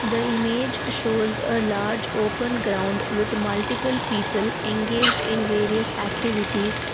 the image shows a large open ground with multiple people engaged in various activities.